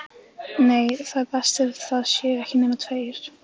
Nei, það er best að það séu ekki nema tveir.